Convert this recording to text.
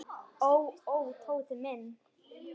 Ó, ó, Tóti minn.